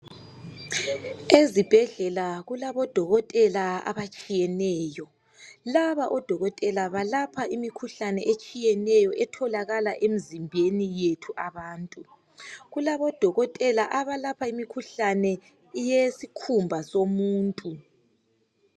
Ezibhedlela kulabodokotela abatshiyeneyo, laba odokotela balapha imikhuhlane etshiyeneyo etholakala emzimbeni yethu abantu. Kulabodokotela abalapha imikhuhlane yesikhumba somuntu.